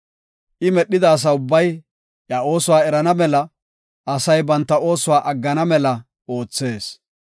I medhida asa ubbay iya oosuwa erana mela, asay banta oosuwa aggana mela oothees.